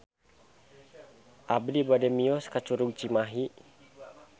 Abi bade mios ka Curug Cimahi